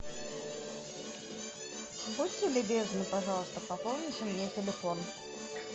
будьте любезны пожалуйста пополните мне телефон